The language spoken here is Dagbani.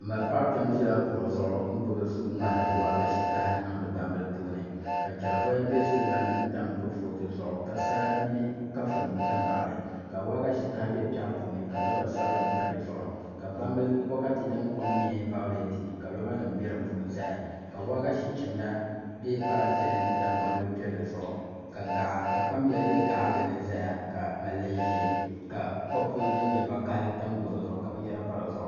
N ma paɣa kpɛm ʒila kuɣu zuɣu n gbubi suu ŋmahari waagashe kaha n niŋdi gbambili puuni ka chɛri voya bɛ kuriga ni n tam kurifooti zuɣu ka sala mini kafuni ʒɛ n baɣali la waagashe kaha bɛ piɛɣu puuni ka loba sabinli pa di zuɣu ka GBA mob ility bokati din kom nyɛ vaaulɛt ka roba nim bɛ di puuni ʒɛya ka waagashe chimda bɛ parantɛ ni tam gbambili piɛlli ka kpam bɛla bɛ gaɣali ni ʒɛya ka mali ʒiɛ ka kopu din nyɛ vakaɣali tam gɛro zuɣu ka binyɛri pa di zuɣu